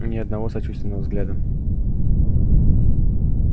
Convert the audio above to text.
ни одного сочувственного взгляда